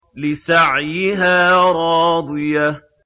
لِّسَعْيِهَا رَاضِيَةٌ